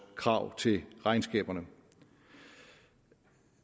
krav til regnskaberne